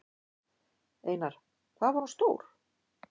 Einar: Hvað var hún stór?